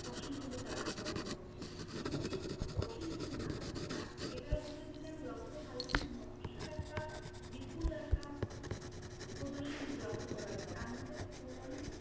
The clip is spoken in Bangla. পশমগুলো তারা সংগ্রহ করে, শুধু এই পশমগুলো না এটার উপরে যদি আমি লক্ষ্য করি তাহলে কিন্তু নকশার একটা বিপুল একটা প্রদর্শন লক্ষ্য করা যায়, তার মধ্যে একটা পৌরাণিক